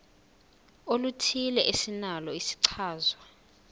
oluthile esinalo isichazwa